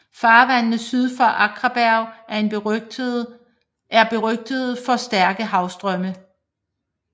Farvandene syd for Akraberg er er berygtede for stærke havstrømme